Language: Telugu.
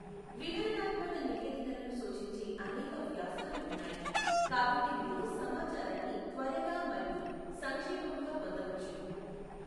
వివరణాత్మక నివేదికలను సూచించే అనేక వ్యాసాలు ఉన్నాయి, కాబట్టి మీరు సమాచారాన్ని త్వరగా మరియు సంక్షేపముగా పొందవచ్చు.